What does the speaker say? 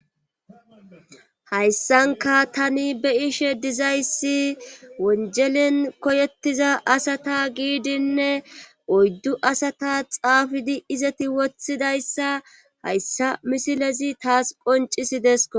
Hayssanka tani be ishe dizayssi wonjelen koyettiza asata giidinne oyddu asata xaafidi izati woththidayssa hayssa misilezi taas qoncisidesko.